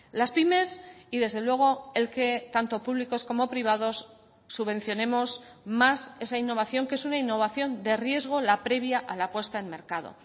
las pymes y desde luego el que tanto públicos como privados subvencionemos más esa innovación que es una innovación de riesgo la previa a la puesta en mercado